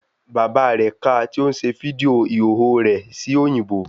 Bàbá rẹ̀ ka tí ó ń ṣe fídíò ìhòòhò rẹ̀ sí òyìnbó